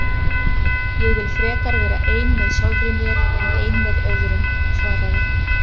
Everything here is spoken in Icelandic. Ég vil frekar vera ein með sjálfri mér en ein með öðrum svaraði